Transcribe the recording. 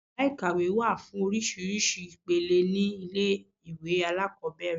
Yàrá ìkàwé wà fún oríṣiríṣi ìpele ní ilé ìwé alákọ̀ọ́bẹ̀rẹ̀.